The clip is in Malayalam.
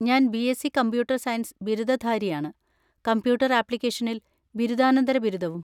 ഞാൻ ബിഎസ്സി കമ്പ്യൂട്ടർ സയൻസ് ബിരുദധാരിയാണ്, കമ്പ്യൂട്ടർ ആപ്ലിക്കേഷനിൽ ബിരുദാനന്തര ബിരുദവും.